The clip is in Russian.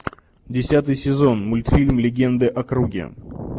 десятый сезон мультфильм легенды о круге